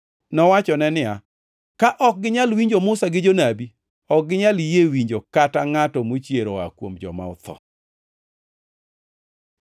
“Nowachone ni, ‘Ka ok ginyal winjo Musa gi Jonabi, ok ginyal yie winjo kata ngʼato mochier oa kuom joma otho.’ ”